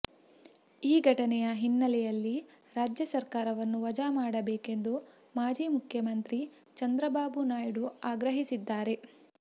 ಈ ಘಟನೆಯ ಹಿನ್ನೆಲೆಯಲ್ಲಿ ರಾಜ್ಯ ಸರಕಾರವನ್ನು ವಜಾ ಮಾಡಬೇಕೆಂದು ಮಾಜಿ ಮುಖ್ಯಮಂತ್ರಿಚಂದ್ರಬಾಬುನಾಯ್ಡು ಆಗ್ರಹಿಸಿದ್ದಾರೆ